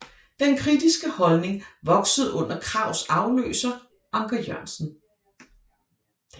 Denne kritiske holdning voksede under Krags afløser Anker Jørgensen